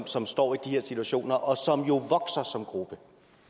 som står i de her situationer og som jo vokser som gruppe